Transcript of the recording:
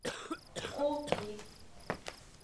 култи